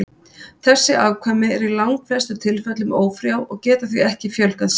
Þessi afkvæmi eru í langflestum tilfellum ófrjó og geta því ekki fjölgað sér.